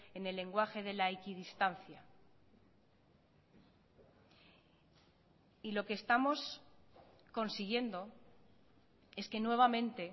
en el lenguaje de la equidistancia y lo que estamos consiguiendo es que nuevamente